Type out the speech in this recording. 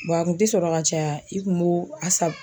Bɔn a kun te sɔrɔ ka caya i kun b'o a sa